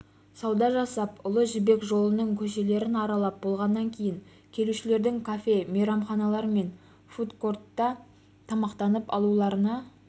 сауда жасап ұлы жібек жолының көшелерін аралап болғаннан кейін келушілердің кафе мейрамханалар мен фуд-кортта тамақтанып алуларына